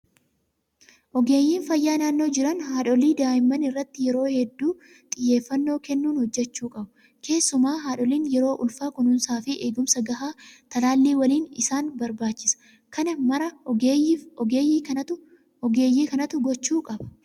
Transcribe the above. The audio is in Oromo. Ogeeyyiin fayyaa naannoo jiran haadholii fi daa'imman irratti yeroo hedduu xiyyeeffannoo kennuun hojjachuu qabu. Keessumaa haadholiin yeroo ulfaa kunuunsaa fi eegumsa gahaa talaallii waliin isaan barbaachisa. Kana maraa ogeeyyii kanatu gochuu qaba.